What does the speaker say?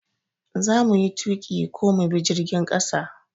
Za muyi tuƙi ko mu bi jirgin ƙasa?